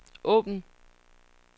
åbn